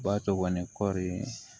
Ba to kɔni kɔɔri